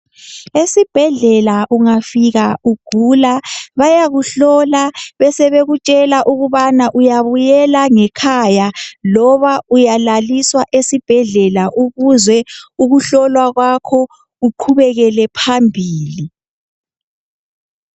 Esibhedlela ungafika ugula bayakuhlola besebekutshela ukubana uyabuyela ngekhaya loba uyalaliswa esibhedlela ukuze ukuhlolwa kwakho kuqhubekele phambili .